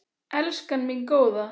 Elskan mín góða.